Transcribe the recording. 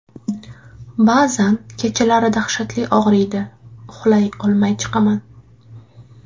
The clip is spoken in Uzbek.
Ba’zan kechalari dahshatli og‘riydi, uxlay olmay chiqaman.